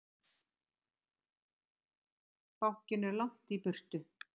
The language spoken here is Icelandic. Bankinn er langt í burtu.